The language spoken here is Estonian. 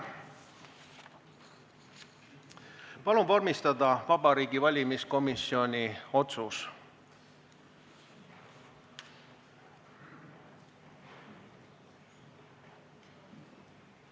Palun vormistada Vabariigi Valimiskomisjoni otsus.